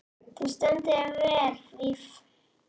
Þú stendur þig vel, Víf!